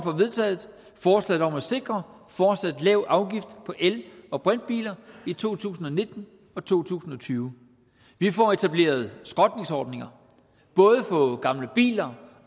vedtaget forslaget om at sikre en fortsat lav afgift på el og brintbiler i to tusind og nitten og to tusind og tyve vi får etableret skrotningsordninger både for gamle biler